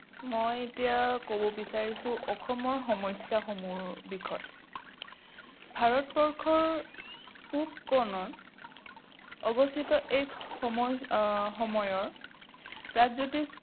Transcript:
মই এতিয়া কব বিচাৰিছো অসমৰ সমস্যাসমূহৰ বিষয়ে। ভাৰতবৰ্ষৰ পূব কোণত অৱস্থিত এই সম সময়ৰ প্ৰাগজোতিষ